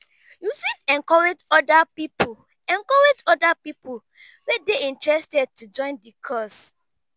you fit encourage oda pipo encourage oda pipo wey dey interested to join the cause